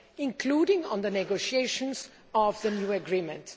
including on the negotiation of the new agreement.